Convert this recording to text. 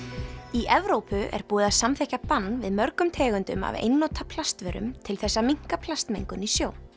í Evrópu er búið að samþykkja bann við mörgum tegundum af einnota plastvörum til þess að minnka plastmengun í sjó